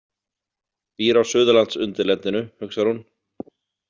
Býr á Suðurlandsundirlendinu, hugsar hún.